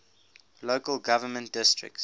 local government districts